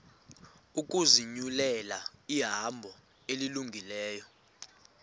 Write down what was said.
ukuzinyulela ihambo elungileyo